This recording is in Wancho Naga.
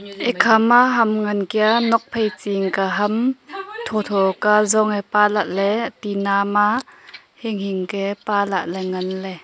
ikhama ham ngan kia nokphai chi ang ka tho tho ka zong ee paalaley tina ma hinghing kia paalaley nganley.